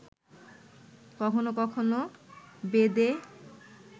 কখন কখন বেদে